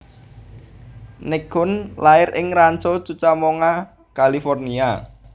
Nichkhun lair ing Rancho Cucamonga California